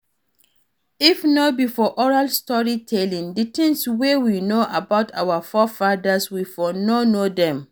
If no be for oral story telling, di things wey we know about our forefathers we for no know dem